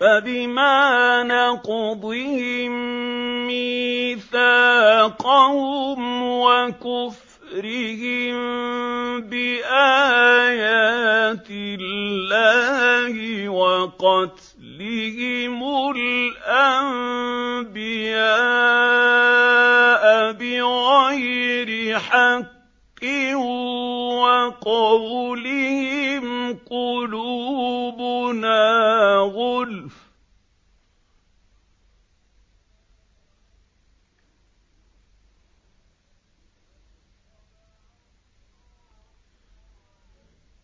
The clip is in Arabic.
فَبِمَا نَقْضِهِم مِّيثَاقَهُمْ وَكُفْرِهِم بِآيَاتِ اللَّهِ وَقَتْلِهِمُ الْأَنبِيَاءَ بِغَيْرِ حَقٍّ وَقَوْلِهِمْ قُلُوبُنَا غُلْفٌ ۚ